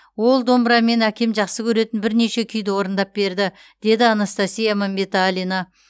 ол домбырамен әкем жақсы көретін бірнеше күйді орындап берді деді анастасия мәмбеталина